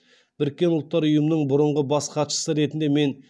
біріккен ұлттар ұйымының бұрынғы бас хатшысы ретінде мен